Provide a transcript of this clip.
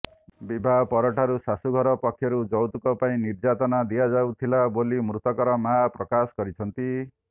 ବିବାହ ପର ଠାରୁ ଶାଶୁଘର ପକ୍ଷରୁ ଯୌତୁକ ପାଇଁ ନିର୍ଯ୍ୟାତନା ଦିଆଯାଉଥିଲା ବୋଲି ମୃତକର ମାଆ ପ୍ରକାଶ କରିଛନ୍ତି